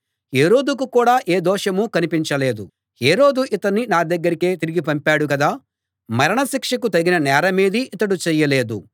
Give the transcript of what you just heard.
హేరోదుకు కూడా ఏ దోషమూ కనిపించలేదు హేరోదు ఇతణ్ణి నా దగ్గరకే తిరిగి పంపాడు కదా మరణ శిక్షకు తగిన నేరమేదీ ఇతడు చేయలేదు